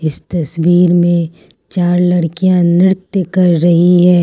तस्वीर में चार लड़कियां नृत्य कर रहीं हैं।